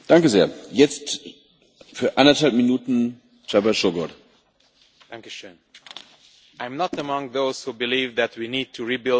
Mr President, I am not among those who believe that we need to rebuild the European Union from the ground up.